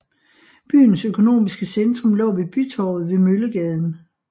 Byens økonomiske centrum lå ved bytorvet ved Møllegaden